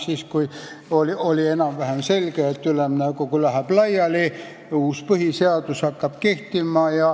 Siis oli enam-vähem selge, et Ülemnõukogu läheb laiali ja uus põhiseadus hakkab kehtima.